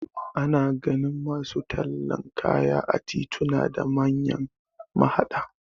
Ana ganin masu tallan kaya a tituna da manyan mahaɗa